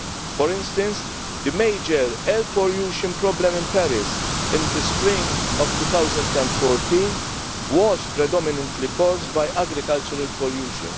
For instance, the major air pollution problem in Paris in the spring of 2014 was predominantly caused by agricultural pollution.